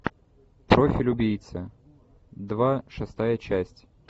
профиль убийцы два шестая часть